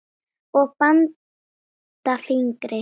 og banda fingri.